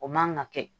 O man ka kɛ